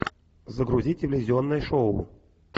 загрузи телевизионное шоу